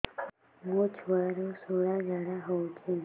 ମୋ ଛୁଆର ସୁଳା ଝାଡ଼ା ହଉଚି